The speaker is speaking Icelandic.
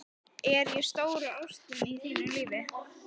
Er ég stóra ástin í þínu lífi?